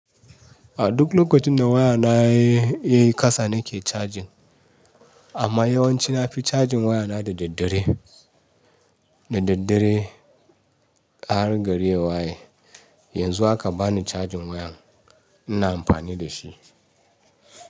A duk lokacin da waya na ya yi kasa, nake cajin. Amma yawanci na fi cajin waya na da daddare, da daddare har gari waye. Yanzu haka bani cajin wayan ina amfani da shi.